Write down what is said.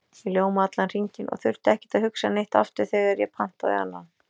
Ég ljómaði allan hringinn og þurfti ekkert að hugsa neitt aftur þegar ég pantaði annan.